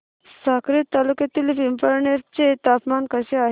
साक्री तालुक्यातील पिंपळनेर चे तापमान कसे आहे